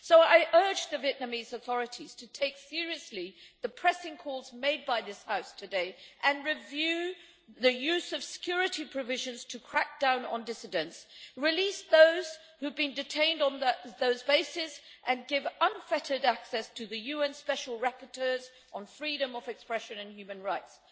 I urge the Vietnamese authorities to take seriously the pressing calls made by this House today and to review the use of security provisions to crackdown on dissidents, to release those who have been detained on that basis and to give unfettered access to the UN special rapporteurs on freedom of expression and human rights.